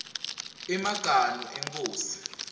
emaganu enkhosi